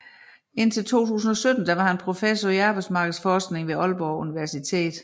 Indtil 2017 var han professor i arbejdsmarkedsforskning ved Aalborg Universitet